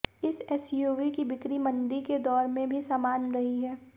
इस एसयूवी की बिक्री मंदी के दौर में भी समान्य रही है